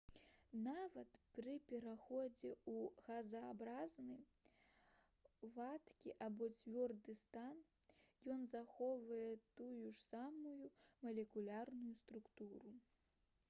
нават пры пераходзе ў газападобны вадкі або цвёрды стан ён захоўвае тую ж самую малекулярную структуру